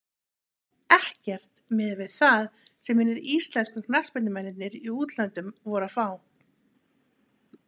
Ekkert miðað við það sem hinir íslensku knattspyrnumennirnir í útlöndum voru að fá.